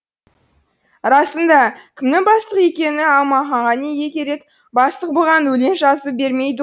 расында кімнің бастық екені аманханға неге керек бастық бұған өлең жазып бермейді